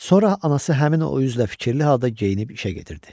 Sonra anası həmin o üzlə fikirli halda geyinib işə getirdi.